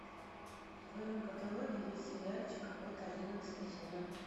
в твоем каталоге есть сериальчик охота одиннадцатый сезон